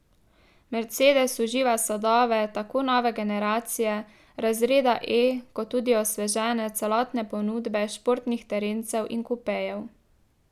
Mercedes uživa sadove tako nove generacije razreda E kot tudi osvežene celotne ponudbe športnih terencev in kupejev.